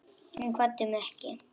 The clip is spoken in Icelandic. Hún kvaddi mig ekki.